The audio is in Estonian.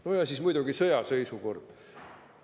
Nojah, siis on veel muidugi sõjaseisukord.